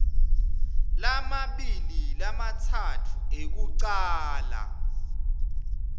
lamabili lamatsatfu ekucala